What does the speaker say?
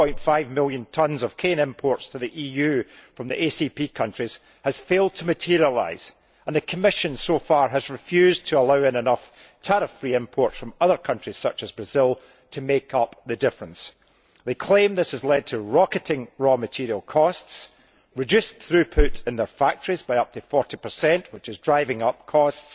3.5 million tonnes of cane imports to the EU from the ACP countries has failed to materialise, and the Commission so far has refused to allow in enough tariff free imports from other countries, such as Brazil, to make up the difference. They claim this has led to rocketing raw material costs and reduced throughput in their factories by up to 40, which is driving up costs